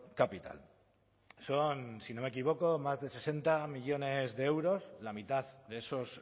capital son si no me equivoco más de sesenta millónes de euros la mitad de esos